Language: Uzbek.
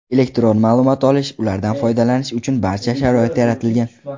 Elektron ma’lumot olish, ulardan foydalanish uchun barcha sharoit yaratilgan.